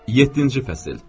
Yeddinci fəsil.